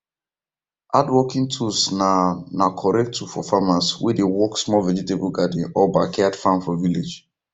handworking tools na na correct tool for farmers wey dey work small vegetable garden or backyard farm for village